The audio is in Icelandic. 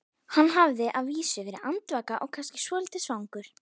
Hann hafði að vísu verið andvaka og kannski svolítið svangur.